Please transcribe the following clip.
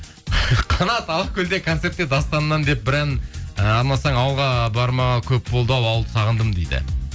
қанат алакөлде концертте дастаннан деп бір ән і арнасаң ауылға бармағалы көп болды ау ауылды сағындым дейді